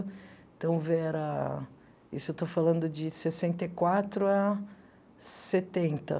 Então, era isso eu estou falando de sessenta e quatro à setenta.